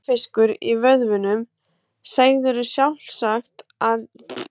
Fjörfiskur í vöðvunum, segðirðu sjálfsagt ef ég spyrði.